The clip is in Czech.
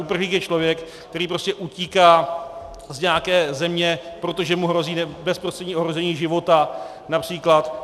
Uprchlík je člověk, který prostě utíká z nějaké země, protože mu hrozí bezprostřední ohrožení života, například.